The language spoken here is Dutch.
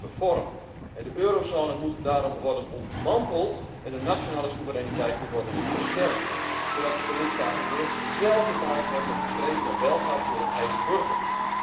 De eurozone moet daarom worden ontmanteld en de nationale soevereiniteit moet worden versterkt, zodat de lidstaten weer zelf de taak hebben om te streven naar welvaart voor hun eigen burgers.